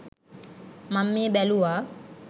මන් මේ බැලුව